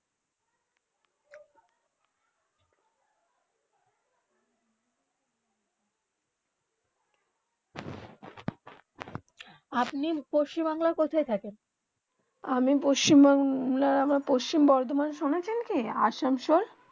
আপনি পশ্চিম বাংলা কোথায় থাকেন আমি পশ্চিম বাংলা পশ্চিম বোরোধামান স্নেছেন কি আসানসোল